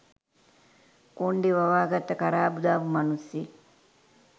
කොන්ඩෙ වවාගත්ත කරාබු දාපු මනුස්සයෙක්.